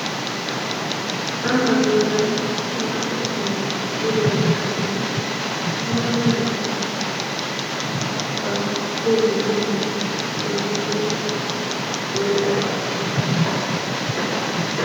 Ambbatu heeran naa'u tohuwan bululiyaa kaamee tamanne naa'u saatiyan ba so gelana mala geetettidi odettiis.